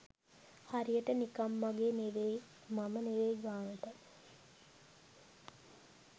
හරියට නිකම් මගේ නෙවෙයි මම නෙවෙයි ගාණට